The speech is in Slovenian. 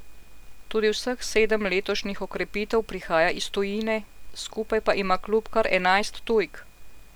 Tudi vseh sedem letošnjih okrepitev prihaja iz tujine, skupaj pa ima klub kar enajst tujk.